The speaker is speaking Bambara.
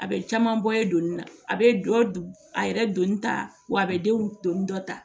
A bɛ caman bɔ ye doni na a bɛ dɔ a yɛrɛ don ta wa a bɛ denw donni dɔ ta